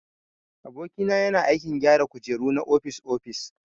Aboki na yana aikin gyara kujeru na ofis-ofis.